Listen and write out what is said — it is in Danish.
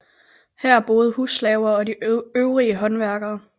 Her boede husslaverne og de øvede håndværkere